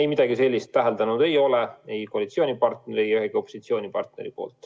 Ei, midagi sellist täheldanud ei ole, ei koalitsioonipartneri ega ühegi opositsioonierakonna poolt.